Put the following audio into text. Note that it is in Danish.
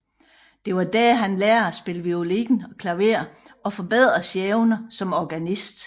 Det var dér han lærte at spille violin og klaver og forbedrede sine evner som organist